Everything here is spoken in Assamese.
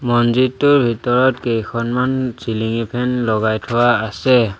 মন্দিৰটোৰ ভিতৰত কেইখনমান চিলিঙি ফেন লগাই থোৱা আছে।